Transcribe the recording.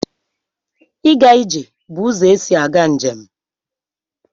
Ịga ije bụ ụzọ esi aga njem.